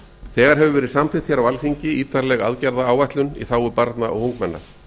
þegar hefur verið samþykkt hér á alþingi ítarleg aðgerðaáætlun í hag barna og ungmenna